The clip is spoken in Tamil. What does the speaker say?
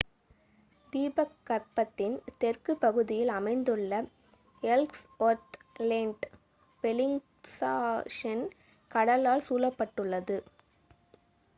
தீபகற்பத்தின் தெற்கு பகுதியில் அமைந்துள்ள எல்ஸ்ஒர்த் லேன்ட் பெலிங்ஷாஷென் கடலால் சூழப்பட்டுள்ளது